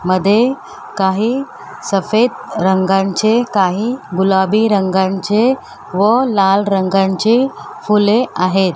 मध्ये काही सफेद रंगांचे काही गुलाबी रंगांचे व लाल रंगांचे फुले आहेत.